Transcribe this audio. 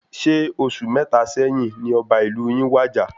Ṣe oṣù mẹta sẹ́yín ní ọba ìlú yin wàjà?